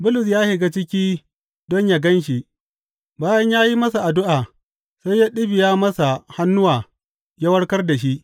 Bulus ya shiga ciki don yă gan shi, bayan ya yi masa addu’a, sai ya ɗibiya masa hannuwa ya warkar da shi.